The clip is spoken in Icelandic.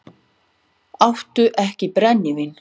Áttu ekki brennivín?